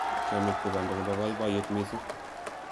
chamiet ko banda nebo baibaiyet mising